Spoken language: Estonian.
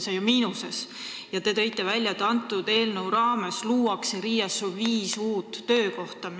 Te ütlesite, et selle eelnõu raames luuakse RIA-s viis uut töökohta.